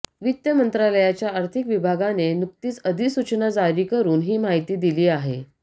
वित्त मंत्रालयाच्या आर्थिक विभागाने नुकतीच अधिसूचना जारी करुन ही माहिती दिली आहे